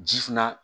Ji fana